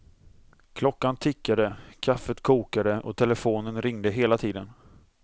Klockan tickade, kaffet kokade och telefonen ringde hela tiden.